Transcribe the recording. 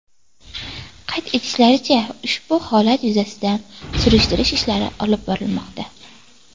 Qayd etishlaricha, ushbu holat yuzasidan surishtiruv ishlari olib borilmoqda.